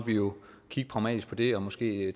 vi jo kigge pragmatisk på det og måske